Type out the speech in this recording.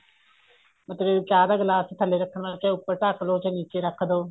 ਮਤਲਬ ਚਾਹ ਦਾ glass ਥੱਲੇ ਰੱਖਣ ਵਾਸਤੇ ਉੱਪਰ ਢੱਕਲੋ ਚਾਹੇ ਨੀਚੇ ਰੱਖਦੋ